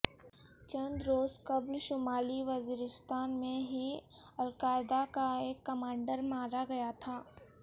چند روز قبل شمالی وزیرستان میں ہی القاعدہ کا ایک کمانڈر مارا گیا تھا